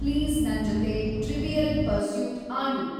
please ನಂಜೊತೆ Trivial Pursuit ಆಡು